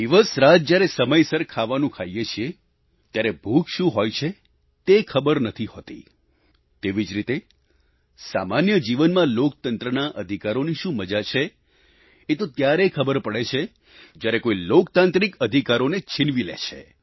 દિવસરાત જ્યારે સમયસર ખાવાનું ખાઈએ છીએ ત્યારે ભૂખ શું હોય છે તે ખબર નથી હોતી તેવી જ રીતે સામાન્ય જીવનમાં લોકતંત્રના અધિકારોની શું મજા છે એ તો ત્યારે ખબર પડે છે જ્યારે કોઈ લોકતાંત્રિક અધિકારોને છીનવી લે છે